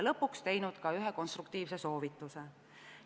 Seal ta andis ka ühe konstruktiivse soovituse.